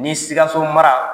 Ni Sikaso mara